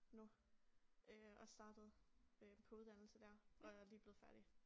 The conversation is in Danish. Nu øh og startede øh på uddannelse der og er lige blevet færdig